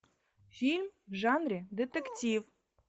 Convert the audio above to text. фильм в жанре детектив